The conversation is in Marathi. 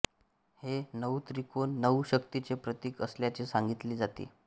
हे नऊ त्रिकोण नऊ शक्तीचे प्रतीक असल्याचे सांगितले जाते